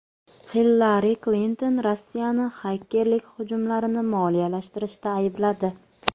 Hillari Klinton Rossiyani xakerlik hujumlarini moliyalashtirishda aybladi.